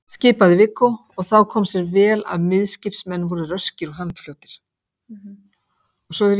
skipaði Viggó, og þá kom sér vel að miðskipsmenn voru röskir og handfljótir.